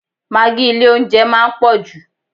Magi ilé oúnjẹ máa ń pò jù.